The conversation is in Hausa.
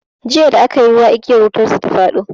Jiya da aka yi ruwa igiyar wutar su ta fado.